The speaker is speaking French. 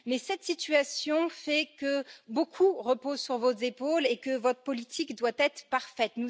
Mais cette situation fait que beaucoup repose sur vos épaules et que votre politique doit être parfaite.